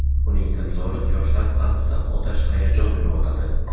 uning timsoli yoshlar qalbida otash hayajon uyg‘otadi.